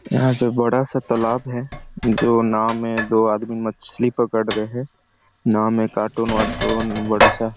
यहाँ पे बड़ा सा तलाब है जो नाव में दो आदमी मछली पकड़ रहे है नाव में कार्टून वाटून बड़ा सा--